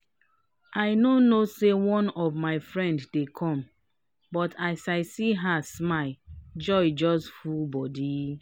i no know say one of my friend dey come but as i see her smile joy just full body.